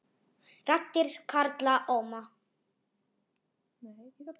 Raddir karla óma